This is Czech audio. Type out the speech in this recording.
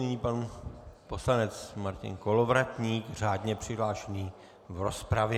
Nyní pan poslanec Martin Kolovratník řádně přihlášený v rozpravě.